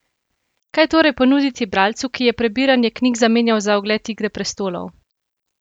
Kaj torej ponuditi bralcu, ki je prebiranje knjig zamenjal za ogled Igre prestolov?